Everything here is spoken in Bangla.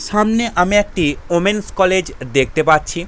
সামনে আমি একটি ওমেন্স কলেজ দেখতে পাচ্ছি।